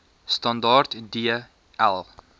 standaard d l